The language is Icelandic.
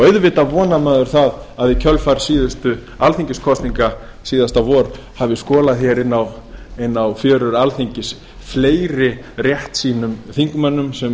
auðvitað konar maður að í kjölfar síðustu alþingiskosninga síðasta vor hafi skolað inn á fjörur alþingis fleiri réttsýnum þingmönnum sem